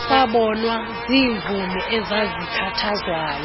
sabonwa ziimvumi ezazikhathazwayo